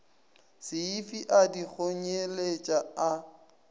seifi a di kgonyeletša a